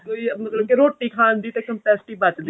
ਤੇ ਮਤਲਬ ਕਿ ਰੋਟੀ ਖਾਣ ਦੀ ਤਾਂ capacity ਬੱਚਦੀ